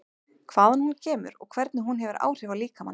Hvaðan hún kemur og hvernig hún hefur áhrif á líkamann?